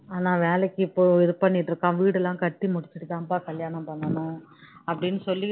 நல்லா வேலைக்கு போய் இது பண்ணிட்டு இருக்கான் வீடு எல்லாம் கட்டி முடிச்சிட்டு தான்பா கல்யாணம் பண்ணனும் அப்படின்னு சொல்லிட்டு இருந்தாங்க